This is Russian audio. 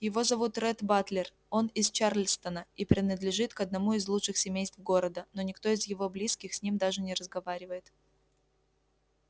его зовут ретт батлер он из чарльстона и принадлежит к одному из лучших семейств города но никто из его близких с ним даже не разговаривает